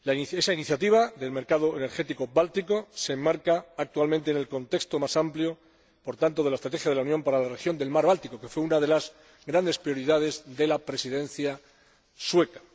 Esa iniciativa del mercado energético báltico se enmarca actualmente en el contexto más amplio, por tanto, de la Estrategia de la Unión para la región del Mar Báltico —que fue una de las grandes prioridades de la Presidencia sueca—.